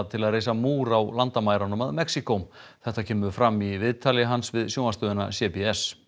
til að reisa múr á landamærunum að Mexíkó þetta kemur fram í viðtali hans við sjónvarpsstöðina c b s